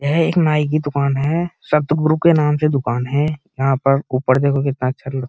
यह एक नाई की दुकान है। सतगुरु के नाम से दुकान है। यहाँ पर ऊपर देखो कितना अच्छा लग --